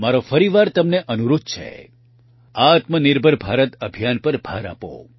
મારો ફરીવાર તમને અનુરોધ છે આત્મનિર્ભર ભારત અભિયાન પર ભાર આપો